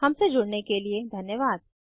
हमसे जुड़ने के लिए धन्यवाद